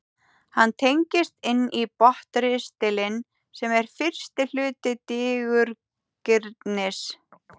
hann tengist inn í botnristilinn sem er fyrsti hluti digurgirnis